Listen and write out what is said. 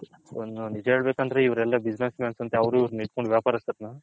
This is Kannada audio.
ನಿಜ ಹೇಳಬೇಕು ಅಂದ್ರೆ ಇವರೆಲ್ಲ business mans ಅಂತೆ ಅವರು ಇವರು ಇಟ್ಕೊಂಡು ವ್ಯಾಪಾರ ಅಸ್ತರನ್ನ.